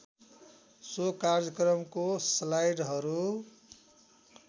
so कार्यक्रमको स्लाइडहरू